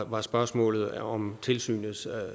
var spørgsmålet om tilsynets